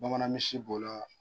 Bamanan misisi b'o la